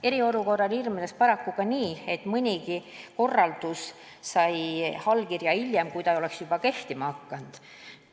Eriolukorra ajal ilmnes paraku ka see, et mõnigi korraldus sai allkirja hiljem, kui ta juba kehtima oli hakanud.